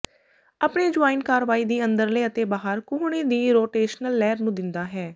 ਆਪਣੇ ਜੁਆਇੰਟ ਕਾਰਵਾਈ ਦੀ ਅੰਦਰਲੇ ਅਤੇ ਬਾਹਰ ਕੂਹਣੀ ਦੀ ਰੋਟੇਸ਼ਨਲ ਲਹਿਰ ਨੂੰ ਦਿੰਦਾ ਹੈ